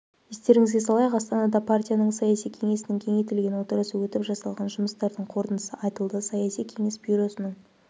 естеріңізге салайық астанада партияның саяси кеңесінің кеңейтілген отырысы өтіп жасалған жұмыстардың қорытындысы айтылды саяси кеңес бюросының